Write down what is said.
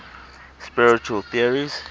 spiritual theories